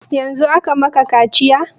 Yanzun aka maka kaciya?